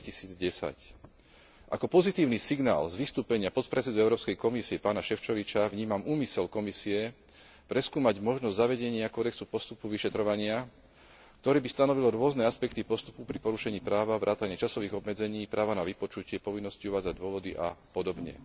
2010. Ako pozitívny signál z vystúpenia podpredsedu Európskej komisie, pána Šefčoviča, vnímam úmysel Komisie preskúmať možnosť zavedenia kódexu postupu vyšetrovania, ktorý by stanovil rôzne aspekty postupu pri porušení práva vrátane časových obmedzení, práva na vypočutie, povinnosti uvádzať dôvody a podobne.